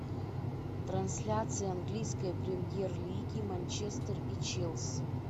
трансляция английской премьер лиги манчестер и челси